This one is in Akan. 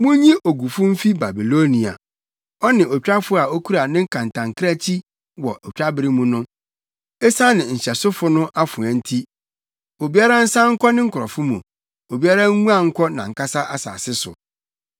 Munyi ogufo mfi Babilonia, ɔne otwafo a okura ne kantankrankyi wɔ otwabere mu no. Esiane nhyɛsofo no afoa nti obiara nsan nkɔ ne nkurɔfo mu, obiara nguan nkɔ nʼankasa asase so.